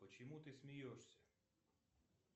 почему ты смеешься